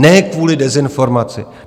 Ne kvůli dezinformaci.